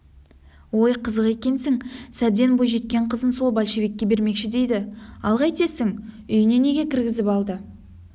ой қызық екенсің сәбден бойжеткен қызын сол большевикке бермекші дейді ал қайтесің үйіне неге кіргізіп алды